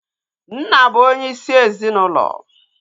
Nna bụ onye isi ezinaụlọ